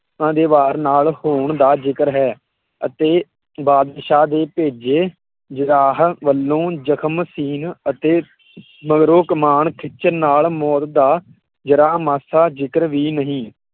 ਉਹਨਾਂ ਦੇ ਵਾਰ ਨਾਲ ਹੋਣ ਦਾ ਜ਼ਿਕਰ ਹੈ ਅਤੇ ਬਾਦਸ਼ਾਹ ਦੇ ਭੇਜੇ ਜਖਮ ਸੀਣ ਅਤੇ ਮਗਰੋਂ ਕਮਾਣ ਖਿੱਚਣ ਨਾਲ ਮੋਤ ਦਾ ਜਰ੍ਹਾਂ ਮਾਸਾ ਜ਼ਿਕਰ ਵੀ ਨਹੀਂ